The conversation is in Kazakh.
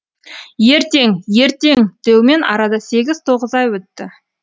ертең ертең деумен арада сегіз тоғыз ай өтті